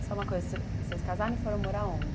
E só uma coisa, vocês casaram e foram morar aonde?